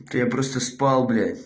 да я просто спал блять